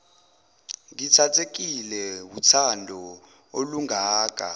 ngithathekile wuthando olungaka